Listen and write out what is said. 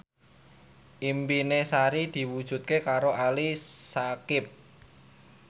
impine Sari diwujudke karo Ali Syakieb